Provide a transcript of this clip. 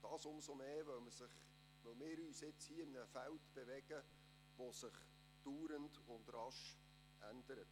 Dies umso mehr, als wir uns hier in einem Feld bewegen, das sich andauernd und rasch verändert.